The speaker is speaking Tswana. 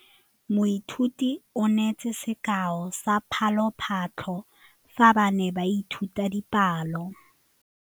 Moithuti o neetse sekaô sa palophatlo fa ba ne ba ithuta dipalo.